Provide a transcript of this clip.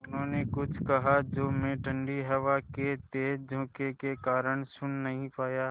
उन्होंने कुछ कहा जो मैं ठण्डी हवा के तेज़ झोंके के कारण सुन नहीं पाया